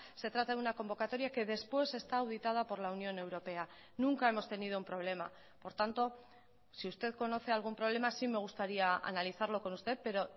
se trata de una convocatoria que después está auditada por la unión europea nunca hemos tenido un problema por tanto si usted conoce algún problema sí me gustaría analizarlo con usted pero